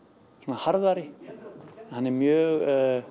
harðari en hann er mjög